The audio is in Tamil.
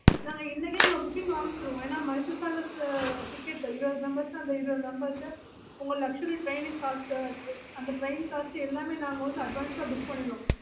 நாங்க இன்னைக்கு எங்க booking ஆரம்பிச்சிடுவோம் ஏன்னா இருபது members ன்னா அந்த இருபது members உங்க luxury காசு அந்த காசு எல்லாமே